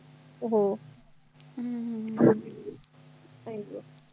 हो हम्म हम्म हम्म आई गं